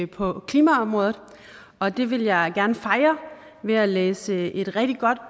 på klimaområdet og det vil jeg gerne fejre ved at læse et rigtig godt